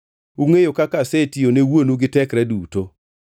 Ungʼeyo kaka asetiyo ne wuonu gi tekra duto.